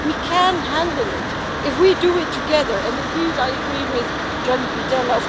We can handle it if we do it together, and indeed I agree with Gianni Pittella.